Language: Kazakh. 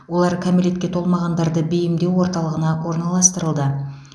олар кәмелетке толмағандарды бейімдеу орталығына орналастырылды